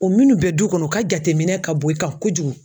O minnu bɛ du kɔnɔ u ka jateminɛ ka bon i kan kojugu.